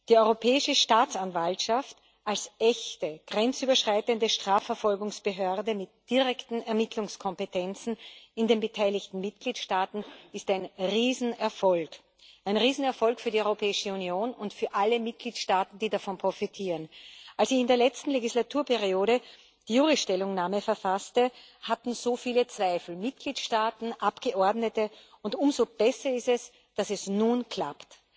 Die Europäische Staatsanwaltschaft als echte grenzüberschreitende Strafverfolgungsbehörde mit direkten Ermittlungskompetenzen in den beteiligten Mitgliedstaaten ist ein Riesenerfolg ein Riesenerfolg für die Europäische Union und für alle Mitgliedstaaten, die davon profitieren. Als ich in der letzten Legislaturperiode die JURI Stellungnahme verfasste, hatten so viele Zweifel Mitgliedstaaten, Abgeordnete und umso besser ist es, dass es nun klappt.